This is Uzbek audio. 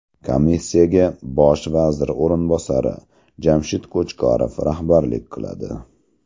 Komissiyaga Bosh vazir o‘rinbosari Jamshid Qo‘chqorov rahbarlik qiladi.